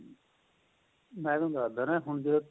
ਮੈਂ ਤੁਹਾਨੂੰ ਦੱਸਦਾ ਹੁਣ